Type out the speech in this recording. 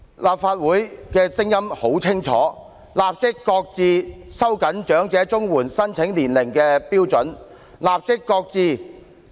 立法會的聲音很清晰，就是立即擱置收緊長者綜援年齡要求的措施。